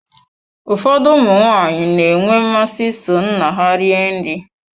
Ụfọdụ ụmụ nwaanyị na-enwe mmasị iso nna ha rie nri.